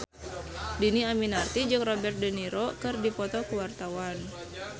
Dhini Aminarti jeung Robert de Niro keur dipoto ku wartawan